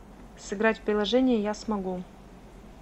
сыграть в приложение я смогу